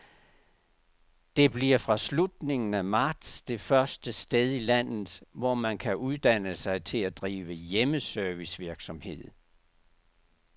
Det bliver fra slutningen af marts det første sted i landet, hvor man kan uddanne sig til at drive hjemmeservicevirksomhed.